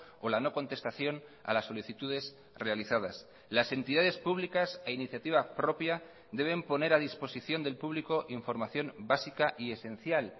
o la no contestación a las solicitudes realizadas las entidades públicas a iniciativa propia deben poner a disposición del público información básica y esencial